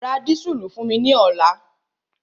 Ra dísùlù fún mi ní ọ̀la!